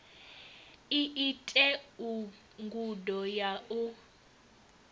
i ite ngudo ya u